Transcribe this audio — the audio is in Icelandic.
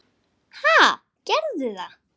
Ha, gerðu það.